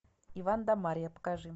иван да марья покажи